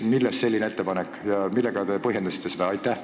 Millest selline ettepanek ja millega te seda põhjendasite?